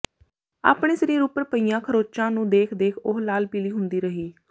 ਆਪਣੇ ਸਰੀਰ ਉਪਰ ਪਈਆਂ ਖਰੋਚਾਂ ਨੂੰ ਦੇਖ ਦੇਖ ਉਹ ਲਾਲ ਪੀਲੀ ਹੁੰਦੀ ਰਹੀ